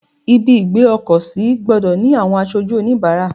Ibi ìgbé ọkọ̀ sí gbọ́dọ̀ ni àwọn aṣojú onibaara.